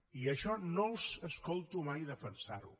i això no els escolto mai defensarho